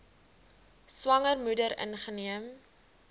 swanger moeder ingeneem